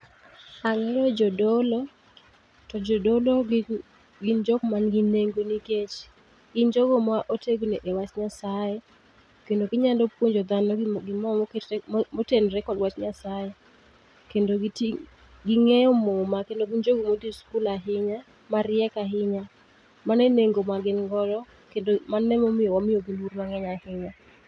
Ang'eyo jodolo, to jodolo gi gin jok man gi nengo nikech, gin jogo ma otegno e wach Nyasaye, kendo ginyalo puonjo dhano gimo moketre motenre kod wach Nyasaye. Kendo giti ging'eyo muma kendo gin jogo modhi skul ahinya, mariek ahinya. Mane e nengo ma gin godo kendo mano emomiyo wamiyo gi luor mang'eny ahinya